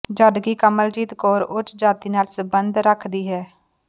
ਜਦਕਿ ਕਮਲਜੀਤ ਕੌਰ ਉੱਚ ਜਾਤੀ ਨਾਲ ਸਬੰਧ ਰੱਖਦੀ ਹੈ